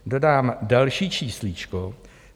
Dodám další číslíčko.